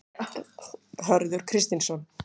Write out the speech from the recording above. Hörður Kristinsson.